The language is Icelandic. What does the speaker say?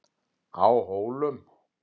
Á Hólum